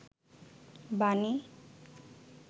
বাণী